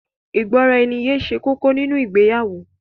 Ìgbọ́raẹniye ṣe kókó nínu ìgbéyàwó.